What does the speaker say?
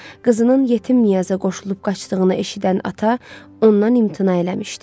Qızının yetim Niyaza qoşulub qaçdığını eşidən ata ondan imtina eləmişdi.